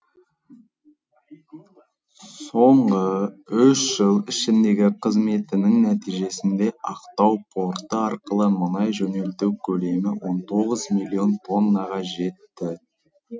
соңғы үш жыл ішіндегі қызметінің нәтижесінде ақтау порты арқылы мұнай жөнелту көлемі он тоғыз миллион тоннаға жетті